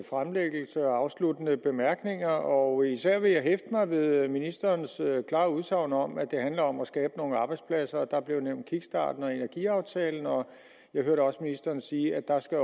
fremlæggelse og afsluttende bemærkninger og især vil jeg hæfte mig ved ministerens klare udsagn om at det handler om at skabe nogle arbejdspladser der blev nævnt kickstarten og energiaftalen og jeg hørte også ministeren sige at der også